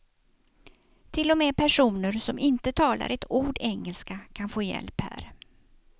Till och med personer som inte talar ett ord engelska kan få hjälp här.